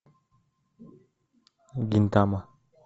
гинтама